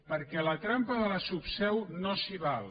perquè la trampa de la subseu no s’hi val